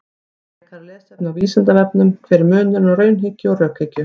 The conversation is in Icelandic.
Frekara lesefni á Vísindavefnum: Hver er munurinn á raunhyggju og rökhyggju?